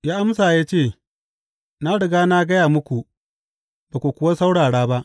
Ya amsa ya ce, Na riga na gaya muku ba ku kuwa saurara ba.